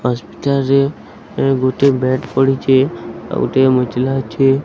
Hospital ରେ ଗୋଟେ bed ପଡ଼ିଛି ଆଉଗୋଟେ ଅଛେ।